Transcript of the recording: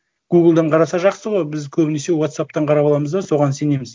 гуглдан қараса жақсы ғой біз көбінесе уотсапптан қарап аламыз да соған сенеміз